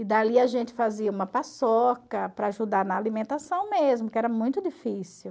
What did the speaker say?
E dali a gente fazia uma paçoca para ajudar na alimentação mesmo, que era muito difícil.